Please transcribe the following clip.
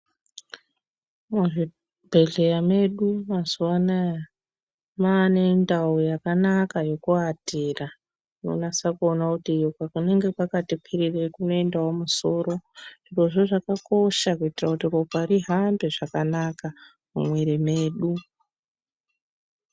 Muzvibhehleya medu mazuva anaya maanendau yakanaka yekuvatira. Unonasa kuona kuti iko kunenge kwakati kwirirei kunoendawo musoro. Zvirozvo zvakakosha kuitira kuti ropa rihambe zvakanaka mumwiri medu.